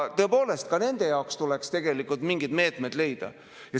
Tõepoolest, ka nende jaoks tuleks mingid meetmed leida.